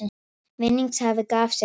Vinningshafi gaf sig fram